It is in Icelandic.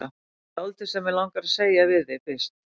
Það er dálítið sem mig langar til að segja við þig fyrst.